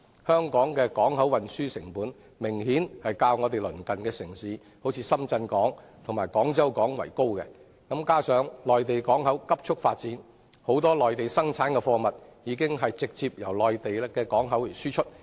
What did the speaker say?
香港的港口運輸成本明顯較鄰近的深圳港及廣州港為高，加上內地港口迅速發展，眾多內地生產的貨物已直接由內地港口出口。